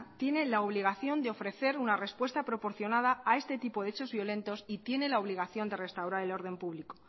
tiene la obligación de ofrecer una respuesta proporcionada a este tipo de hechos violentos y tiene la obligación de restaurar el orden público